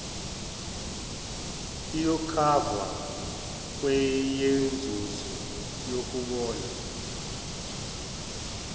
iyokhavwa kweyenzuzo yokubona